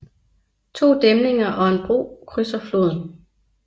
To dæmninger og en bro krydser floden